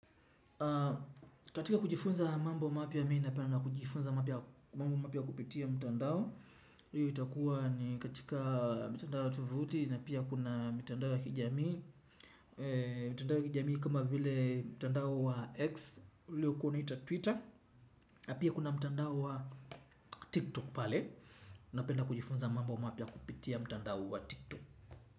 Katika kujifunza mambo mapya mi napenda kujifunza mambo mapya kupitia mtandao. Hiyo itakuwa ni katika mitandao tovuti na pia kuna mitandao ya kijamii. Mitandao ya kijamii kama vile mtandao wa X, uliokuwa unaita Twitter na pia kuna mtandao wa TikTok pale. Napenda kujifunza mambo mapya kupitia mtandao wa TikTok.